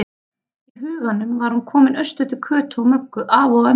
Í huganum var hún komin austur til Kötu og Möggu, afa og ömmu.